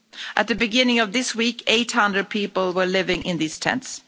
At the beginning of this week, 800 people were living in these tents.